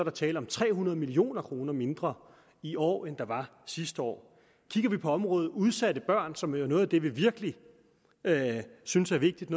er tale om tre hundrede million kroner mindre i år end der var sidste år kigger vi på området udsatte børn som jo er noget af det vi virkelig synes er vigtigt